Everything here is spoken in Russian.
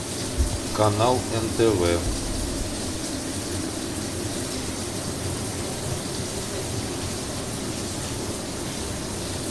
канал нтв